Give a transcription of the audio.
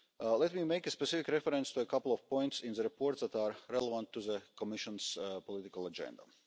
Let me make specific reference to a couple of points in the report that are relevant to the Commission's political agenda.